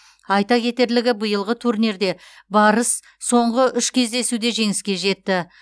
айта кетерлігі биылғы турнирде барыс соңғы еүш кездесуде жеңіске жетті